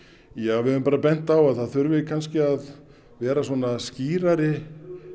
já við höfum bara bent á að það þurfi kannski að vera skýrari